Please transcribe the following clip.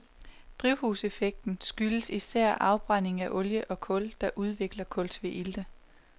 Drivhuseffekten skyldes især afbrænding af olie og kul, der udvikler kultveilte.